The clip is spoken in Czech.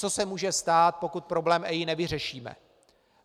Co se může stát, pokud problém EIA nevyřešíme?